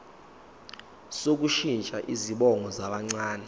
sokushintsha izibongo zabancane